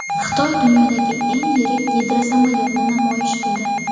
Xitoy dunyodagi eng yirik gidrosamolyotni namoyish qildi.